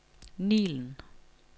Nilen